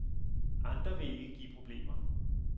Andre vil ikke give problemer.